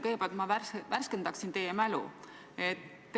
Kõigepealt ma värskendaksin teie mälu.